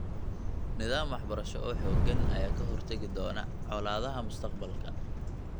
Nidaam waxbarasho oo xooggan ayaa ka hortagi doona colaadaha mustaqbalka .